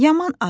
yaman acam.